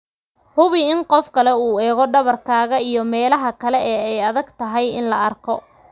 Hubi in qof kale uu eego dhabarkaaga iyo meelaha kale ee ay adagtahay in la arko.